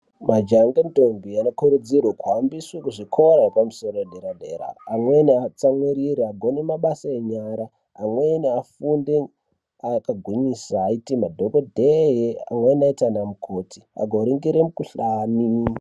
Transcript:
Majaya ngendombi anokurudzirwe kuhambiswe kuzvikora zvepamusoro edera dera amweni atsamwirire agone mabasa enyara , amweni afunde akangwinyisa aite madhokodheya amweni aite anamukoti akoringire mikhuhlani.